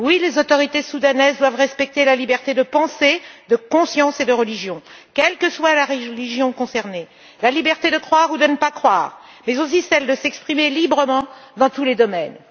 Les autorités soudanaises doivent respecter la liberté de pensée, de conscience et de religion, quelle que soit la religion concernée, la liberté de croire ou de ne pas croire, mais aussi celle de s'exprimer librement dans tous les domaines.